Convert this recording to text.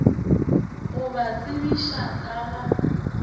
go ba tsebiša ka ga